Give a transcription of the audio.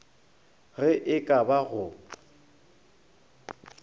ge e ka ba go